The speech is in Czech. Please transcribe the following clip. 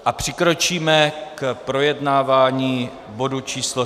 A přikročíme k projednávání bodu číslo